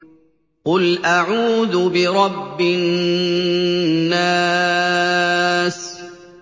قُلْ أَعُوذُ بِرَبِّ النَّاسِ